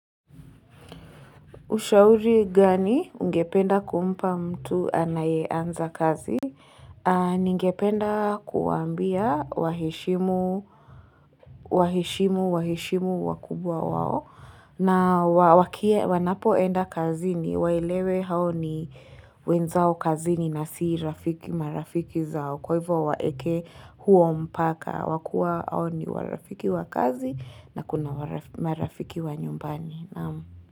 Ushauri gani ungependa kumpa mtu anayeanza kazi? Ningependa kuwaambia waheshimu, waheshimu, waheshimu wakubwa wao na wanapoenda kazini waelewe hao ni wenzao kazini na si rafiki marafiki zao kwa hivyo waeke huo mpaka wa kuwa hao ni warafiki wa kazi na kuna marafiki wa nyumbani.